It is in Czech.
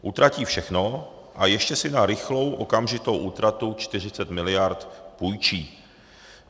Utratí všechno a ještě si na rychlou okamžitou útratu 40 mld. půjčí.